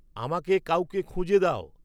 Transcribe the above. আমাকে কাউকে খুঁজে দাও